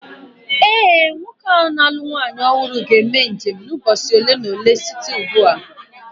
Ee, nwoke ahụ na-alụ nwaanyị ọhụrụ ga-eme njem n’ime ụbọchị ole na ole site ugbu a